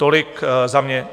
Tolik za mě.